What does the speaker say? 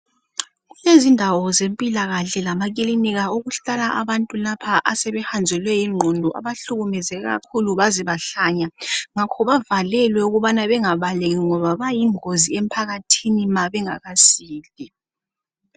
Kulezindawo zempilakahle lama kilinika okuhlala abantu lapha asebehanjelwe yingqondo abahlukumeze kakhulu baze bahlanya. Ngakho bavalelwe ukubana bengabaleki ngoba bayingozi emphakathini ma bengakasili.